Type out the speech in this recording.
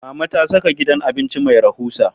Mama ta saka gidan abinci mai rahusa